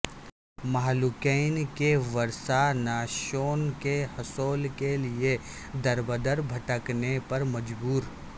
مہلوکین کے ورثاء نعشوں کے حصول کیلئے در بدر بھٹکنے پر مجبور